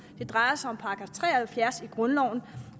det drejer sig om § tre og halvfjerds i grundloven